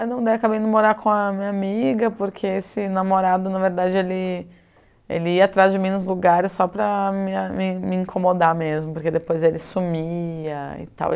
Eu não acabei indo morar com a minha amiga porque esse namorado, na verdade, ele ele ia atrás de mim nos lugares só para me me me incomodar mesmo, porque depois ele sumia e tal.